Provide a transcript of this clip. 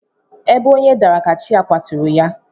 Ebe onye dara ka chi ya kwaturu ya.